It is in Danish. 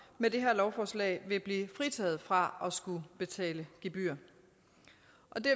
med det her lovforslag vil blive fritaget fra at skulle betale gebyrer